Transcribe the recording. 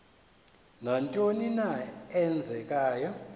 nantoni na eenzekayo